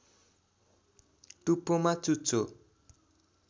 टुप्पोमा चुच्चो